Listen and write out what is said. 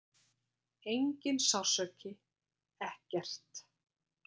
Enginn sársauki, ekkert.